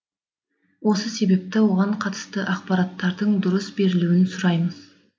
осы себепті оған қатысты ақпараттардың дұрыс берілуін сұраймыз